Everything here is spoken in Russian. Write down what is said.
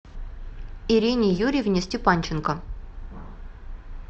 ирине юрьевне степанченко